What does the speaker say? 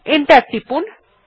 enter টিপুন